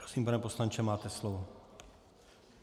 Prosím, pane poslanče, máte slovo.